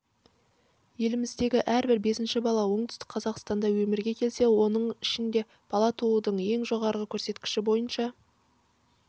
еліміздегі әрбір бесінші бала оңтүстік қазақстанда өмірге келсе соның ішінде бала туудың ең жоғары көрсеткіші бойынша